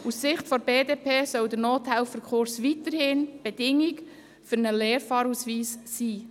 Aus Sicht der BDP soll der Nothelferkurs weiterhin eine Bedingung zum Erlangen eines Lernfahrausweises sein.